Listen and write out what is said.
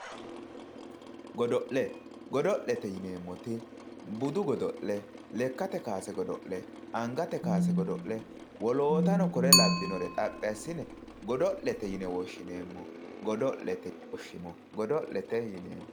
GOdo'le, godo'lete yineemmoti budu godo'le lekkate kowaase godo'le angate kowase godo'le woloottano kuri labbinore xaphi assine godo'lete yine woshshineemmo.